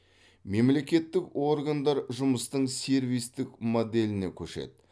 мемлекеттік органдар жұмыстың сервистік моделіне көшеді